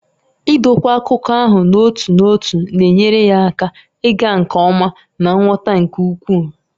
Idokwa akụkọ ahụ n'otu n'otu na-enyere ya aka ịga nke ọma na nghọta nke ukwuu.